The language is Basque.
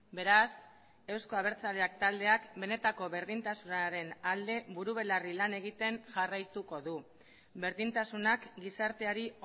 beraz euzko abertzaleak taldeak benetako berdintasunaren alde buru belarri lan egiten jarraituko du berdintasunak gizarteari